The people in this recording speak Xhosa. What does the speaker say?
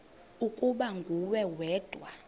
ukuba nguwe wedwa